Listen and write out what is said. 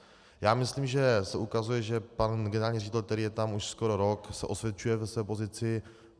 Já myslím, že se ukazuje, že pan generální ředitel, který je tam už skoro rok, se osvědčuje ve své pozici.